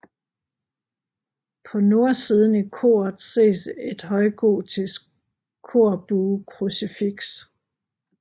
På nordsiden i koret ses et højgotisk korbuekrucifiks